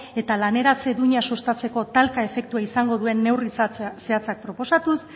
eta laneratze duina sustatzeko talka efektua izango duen neurri zehatzak proposatuz